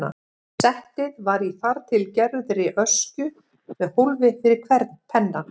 Settið var í þar til gerðri öskju með hólfi fyrir hvern penna.